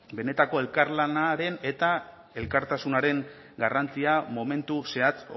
benetako elkarlanaren eta elkartasunaren garrantzia momentu zehatz